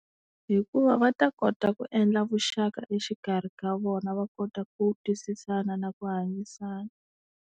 Hikuva va ta kota ku endla vuxaka exikarhi ka vona va kota ku twisisana na ku hanyisana.